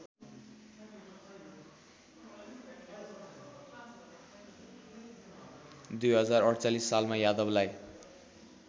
२०४८ सालमा यादवलाई